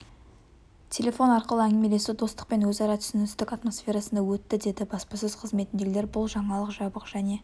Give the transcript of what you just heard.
телефон арқылы әңгімелесу достық пен өзара түсіністік атмосферасында өтті деді баспасөз қызметіндегілер бұл жаңалық жабық және